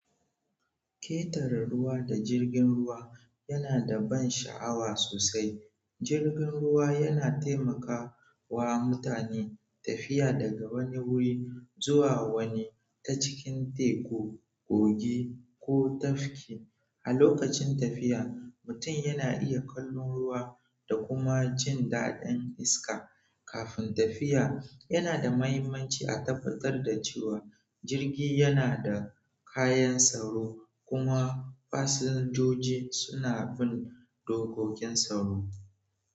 Ketera ruwa da jirgin ruwa yana da ban sha'awa sosai. Jirgin ruwa yana taimaka wa mutane tafiya daga wani wuri zuwa wani ta cikin teku, kogi ko tafki. A lokacin tafiya, mutum yana iya kallon ruwa da kuma jin daɗin iska. Kafin tafiya, yana da mahimmanci a tabbatar da cewa jirgi yana da kayan tsaro kuma fasinjoji suna bin dokokin tsaro.